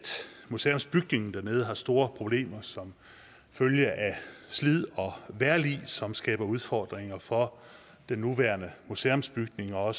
museumsbygningen dernede har store problemer som følge af slid og vejrlig som skaber udfordringer for den nuværende museumsbygning og